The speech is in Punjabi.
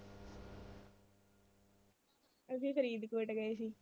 ਅਸੀਂ ਫਰੀਦਕੋਟ ਗਏ ਸੀ।